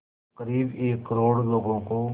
क़रीब एक करोड़ लोगों को